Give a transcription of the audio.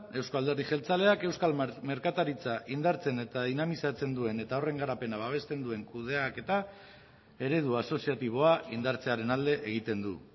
euzko alderdi jeltzaleak euskal merkataritza indartzen eta dinamizatzen duen eta horren garapena babesten duen kudeaketa eredu asoziatiboa indartzearen alde egiten du